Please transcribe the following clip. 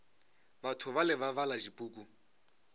batho bale ba bala dipuku